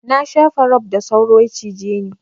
Na shafa rob da sauro ya cije ni.